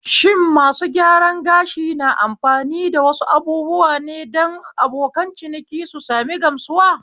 Shin masu gyaran gashi na amfani da wasu abubuwa ne don abokan ciniki su sami gamsuwa?